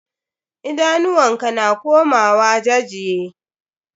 Idanuwan ka na komawa jajye.